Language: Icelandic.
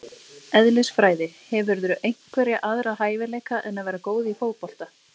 Eðlisfræði Hefurðu einhverja aðra hæfileika en að vera góð í fótbolta?